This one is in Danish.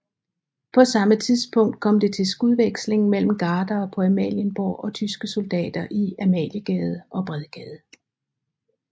På samme tidspunkt kom det til skudveksling mellem gardere på Amalienborg og tyske soldater i Amaliegade og Bredgade